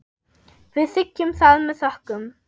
Við þiggjum það með þökkum.